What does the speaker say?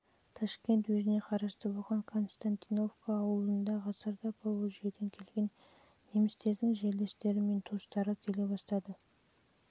ташкент уезіне қарасты болған константиновка ауылында ғасырда поволжьеден келген немістердің жерлестері мен туыстары келе бастады жылы қарай онда